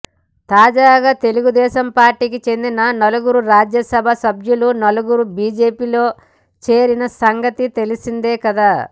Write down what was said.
తాజాగా తెలుగు దేశం పార్టికి చెందిన నలుగురు రాజ్యసభ సభ్యులు నలుగురు బీజేపీలో చేరిన సంగతి తెలిసిందే కదా